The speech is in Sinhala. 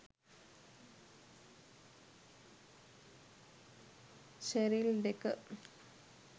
sheryl decker